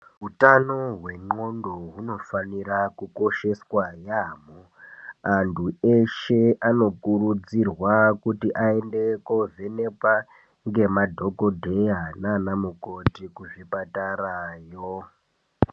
Hutano hwendxondo hunofanira kukosheswa yampho antu eshe anokurudzirwa kuti aende kovhenekwa ngemadhokodheya naana mukoti kuzvipatarayo.